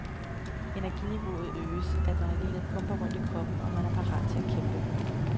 Energiniveauet øges, adrenalinet pumper rundt i kroppen, og man er parat til at kæmpe.